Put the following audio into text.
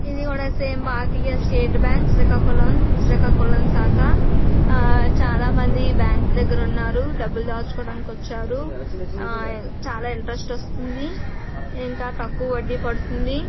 ఇది కూడా same Bharatiya state bank Srikakulam. Srikakulam శాఖ. ఆ చాలామంది బ్యాంకు దగ్గర ఉన్నారు. డబ్బులు దాచుకోవడానికి వచ్చారు. చాలా ఇంట్రస్ట్ వస్తుంది. ఇంకా తక్కువ వడ్డీ పడుతుంది.